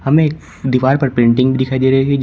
हमें एक दीवार पर पेंटिंग भी दिखाई दे रही है।